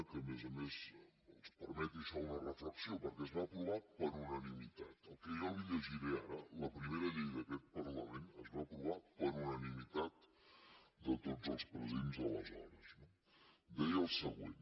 que a més a més els permeti això una reflexió perquè es va aprovar per unanimitat el que jo li llegiré ara la primera llei d’aquest parlament es va aprovar per unanimitat de tots els presents aleshores no deia el següent